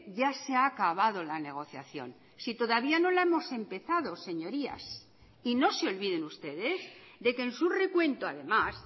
ya se ha acabado la negociación si todavía no la hemos empezado señorías y no se olviden ustedes de que en su recuento además